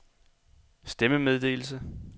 stemmemeddelelse